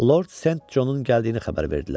Lord Sent Conun gəldiyini xəbər verdilər.